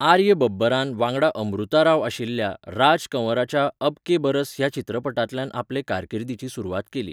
आर्य बब्बरान, वांगडा अमृता राव आशिल्ल्या, राज कंवराच्या 'अब के बरस' ह्या चित्रपटांतल्यान आपले कारकिर्दीची सुरवात केली.